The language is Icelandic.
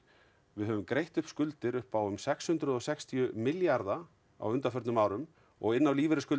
við höfum greitt upp skuldir upp á um sex hundruð og sextíu milljarða á undanförnum árum og inn á